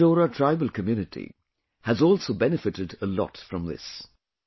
The Konda Dora tribal community has also benefited a lot from this